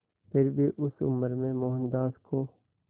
फिर भी उस उम्र में मोहनदास को